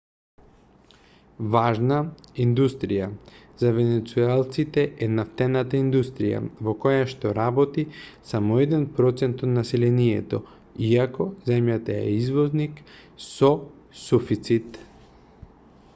важна индустрија за венецуелците е нафтената индустрија во којашто работи само еден процент од населението иако земјата е извозник со суфицит